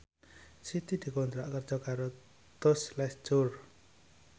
Siti dikontrak kerja karo Tous Les Jour